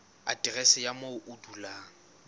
aterese ya moo o dulang